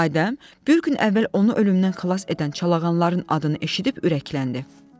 Adəm, bir gün əvvəl onu ölümdən xilas edən çalağanların adını eşidib ürəkləndi.